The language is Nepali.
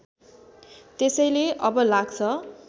त्यसैले अब लाग्छ